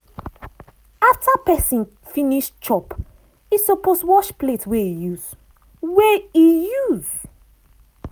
after pesin finish chop e suppose wash plate wey e use. wey e use.